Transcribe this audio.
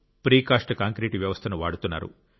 precast concrete వ్యవస్థను వాడుతున్నారు